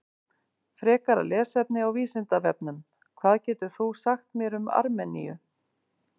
Frekara lesefni á Vísindavefnum: Hvað getur þú sagt mér um Armeníu?